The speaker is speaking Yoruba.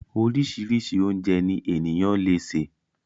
Orísirísi oúnjẹ ní ènìyàn le sè